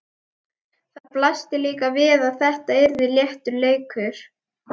Það blasti líka við að þetta yrði léttur leikur.